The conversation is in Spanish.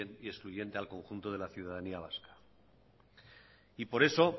y excluyente al conjunto de la ciudadanía vasca y por eso